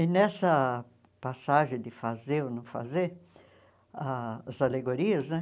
E nessa passagem de fazer ou não fazer, ah as alegorias, né?